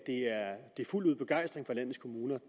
fuldt ud begejstring